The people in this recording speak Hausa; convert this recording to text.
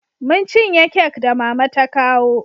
Mun cinye kek da mama ta kawo